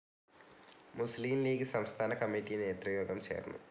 മുസ്ലിം ലീഗ്‌ സംസ്ഥാനകമ്മിറ്റി നേതൃയോഗം ചേർന്നു.